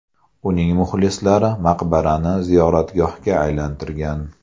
Uning muxlislari maqbarani ziyoratgohga aylantirgan.